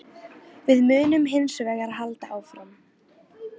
Við munum hins vegar halda áfram